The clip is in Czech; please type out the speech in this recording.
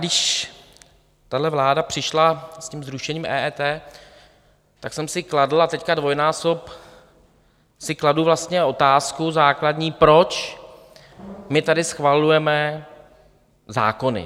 Když tahle vláda přišla s tím zrušením EET, tak jsem si kladl a teď dvojnásob si kladu vlastně otázku základní: Proč my tady schvalujeme zákony?